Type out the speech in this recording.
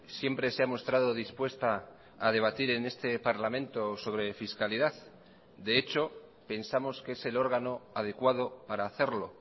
siempre se ha mostrado dispuesta a debatir en este parlamento sobre fiscalidad de hecho pensamos que es el órgano adecuado para hacerlo